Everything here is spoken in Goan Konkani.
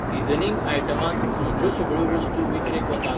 सीझनिंग आयटमांत खंयच्यो सगळ्यो वस्तू विकरेक वतात ?